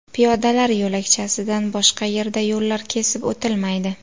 Piyodalar yo‘lakchasidan boshqa yerda yo‘llar kesib o‘tilmaydi.